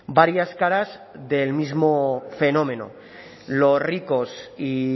varias caras del mismo fenómeno los ricos y